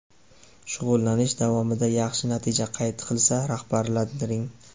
Shug‘ullanish davomida yaxshi natija qayd qilsa, rag‘batlantiring.